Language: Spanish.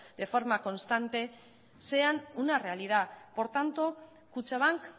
de forma constante sean una realidad por tanto kutxabank